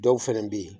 Dɔw fɛnɛ bɛ ye